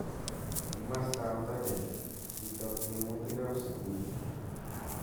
Ing mastap tadem, kitok tiemutik ap sugul.